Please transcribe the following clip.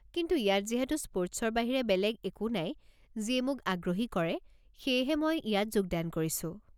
কিন্তু ইয়াত যিহেতু স্পৰ্টছৰ বাহিৰে বেলেগ একো নাই যিয়ে মোক আগ্ৰহী কৰে, সেয়েহে মই ইয়াত যোগদান কৰিছো।